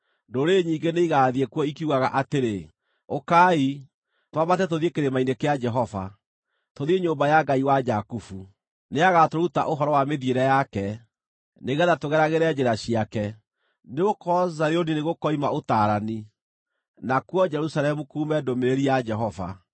Ndũrĩrĩ nyingĩ nĩigathiĩ kuo ikiugaga atĩrĩ, “Ũkai, twambate tũthiĩ kĩrĩma-inĩ kĩa Jehova, tũthiĩ nyũmba ya Ngai wa Jakubu. Nĩagatũruta ũhoro wa mĩthiĩre yake, nĩgeetha tũgeragĩre njĩra ciake.” Nĩgũkorwo Zayuni nĩgũkoima ũtaarani, nakuo Jerusalemu kuume ndũmĩrĩri ya Jehova.